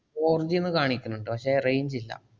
FourG ന്ന് കാണിക്കണ്ണ്ട് പക്ഷെ range ഇല്ല.